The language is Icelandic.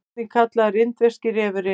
einnig kallaður indverski refurinn